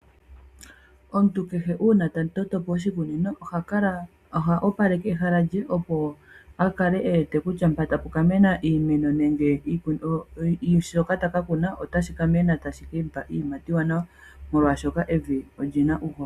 Omuntu kehe uuna ta toto po oshikunino oha opaleke ehala lye, opo a kale e wete kutya mpa tapu ka mena nenge shoka ta ka kuna otashi ka mena tashi ke mu pa iiyimati iiwanawa, molwashoka evi oli na uuhoho.